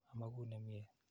Amakun ne mye.